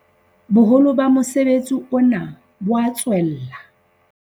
Boholo ba mosebetsi ona bo a tswella.